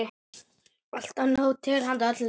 Alltaf nóg til handa öllum.